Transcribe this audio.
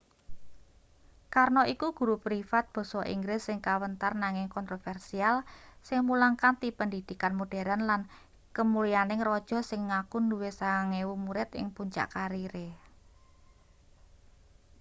karno iku guru privat basa inggris sing kawentar nanging kontroversial sing mulang kanthi pendhidhikan moderen lan kemulyaning raja sing ngaku duwe 9,000 murid ing puncak karire